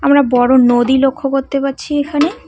আমরা বড়ো নদী লক্ষ্য করতে পারছি এখানে।